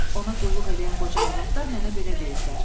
Ona qulluq eləyən qoca arvadlar mənə belə deyiblər.